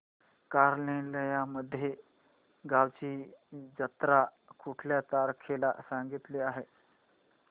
कालनिर्णय मध्ये गावाची जत्रा कुठल्या तारखेला सांगितली आहे